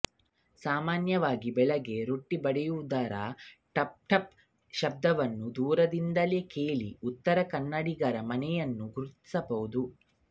ಸಾಮಾನ್ಯವಾಗಿ ಬೆಳಿಗ್ಗೆ ರೊಟ್ಟಿ ಬಡಿಯುವುದರ ಟಪ್ಟಪ್ ಶಬ್ದವನ್ನು ದೂರದಿಂದಲೆ ಕೇಳಿಯೇ ಉತ್ತರ ಕನ್ನಡಿಗರ ಮನೆಯನ್ನು ಗುರ್ತಿಸಬಹುದು